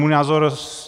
Můj názor.